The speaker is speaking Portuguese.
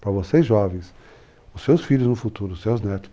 Para vocês jovens, os seus filhos no futuro, os seus netos.